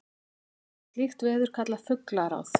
var slíkt veður kallað fuglagráð